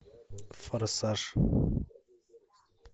форсаж